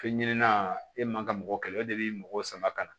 Fɛn ɲinɛnin na e man kan ka mɔgɔ kɛlɛ o de b'i mɔgɔw sama ka na